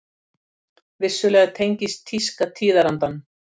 Vissulega tengist tíska tíðarandanum.